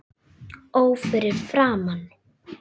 Ó fyrir framan